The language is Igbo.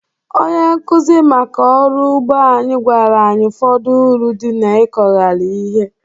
Onye nkụzi maka ọrụ ugbo anyị gwara anyị ụfọdụ uru dị n'ịkọgharị ihe